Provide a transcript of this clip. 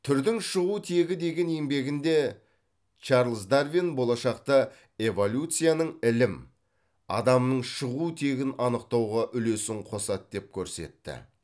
түрдің шығу тегі деген еңбегінде чарлз дарвин болашақта эволюцияның ілім адамның шығу тегін анықтауға үлесін қосады деп көрсетті